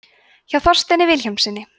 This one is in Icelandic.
hjá þorsteini vilhjálmssyni